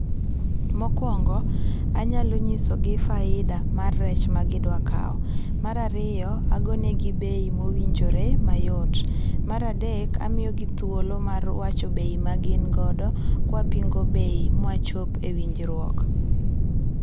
Mokuongo anyalo nyisogi faida ma rech ma gidwa kaw, mar ariyo agone gi bei ma owinjore mayot, mar adek amiyogi thuolo mar wacho bei ma gin godo kwa pingo bei mawachop e winjruok